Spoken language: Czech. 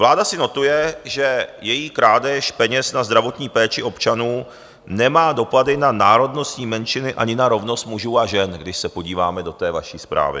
Vláda si notuje, že její krádež peněz na zdravotní péči občanů nemá dopady na národnostní menšiny ani na rovnost mužů a žen, když se podíváme do té vaší zprávy.